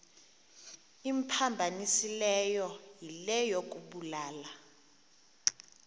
imphambanisileyo yile yokubulala